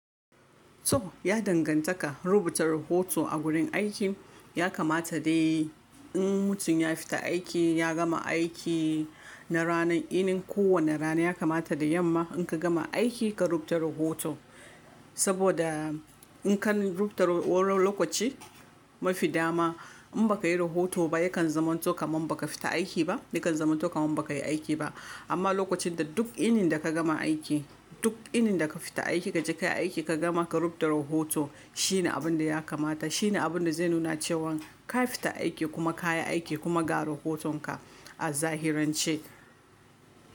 To ya dangantaka rubuta rahoto a gurin aiki ya kamata dai in mutum ya fita aiki ya gama aiki na ranar, inin kowane rana ya kamata da yamma in ka gama aiki ka rubuta rohoto. Saboda in kan rubuta lokaci mafi dama in baka yi rohoto ba yakan zama to kaman baka fita aiki ba, yakan zama to kaman baka yi aiki ba. Amma lokacin da duk inin da ka gama aiki, duk inin da ka fita aiki kaje ka yi aiki ka gama ka rubuta rohoto shine abun da ya kamata, shine abun da zai nuna cewan ka fita aiki kuma ka yi aiki kuma ka ga rohotonka a zahirance.